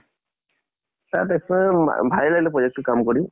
তাত ভা ভালে লাগিলে project টোত কাম কৰি।